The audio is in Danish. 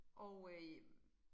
Og øh